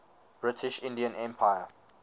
british indian empire